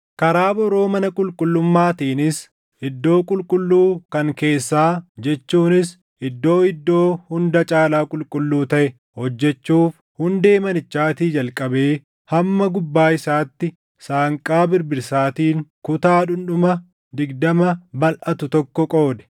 Karaa boroo mana qulqullummaatiinis iddoo qulqulluu kan keessaa jechuunis Iddoo Iddoo Hunda Caalaa Qulqulluu taʼe hojjechuuf hundee manichaatii jalqabee hamma gubbaa isaatti saanqaa birbirsaatiin kutaa dhundhuma digdama balʼatu tokko qoode.